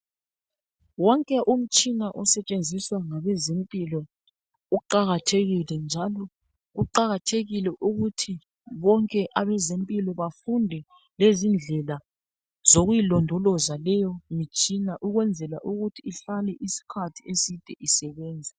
Wonke umtshina osetshenziswa ngabezempilo uqakathekile njalo kuqakathekile ukuthi bonke abezempilo bafunde lezindlela zokuyilondoloza leyo mitshina ukwenzela ukuthi ihlale isikhathi eside isebenza.